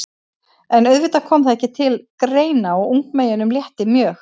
En auðvitað kom það ekki til greina og ungmeyjunum létti mjög.